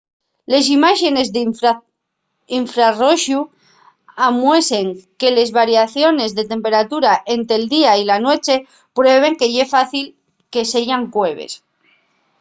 les imáxenes d’infrarroxu amuesen que les variaciones de temperatura ente’l día y la nueche prueben que ye fácil que seyan cueves